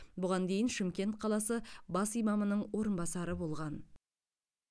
бұған дейін шымкент қаласы бас имамының орынбасары болған